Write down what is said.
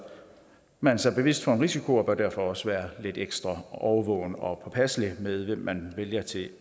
man sig bevidst for en risiko og bør derfor også være lidt ekstra årvågen og påpasselig med hvem man vælger til